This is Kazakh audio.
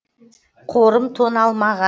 қорым тоналмаған